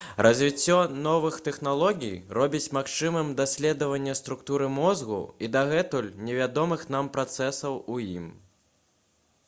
развіццё новых тэхналогій робіць магчымым даследаванне структуры мозгу і дагэтуль невядомых нам працэсаў у ім